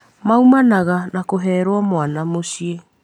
maumanaga na kũherwo mwana mũciĩ.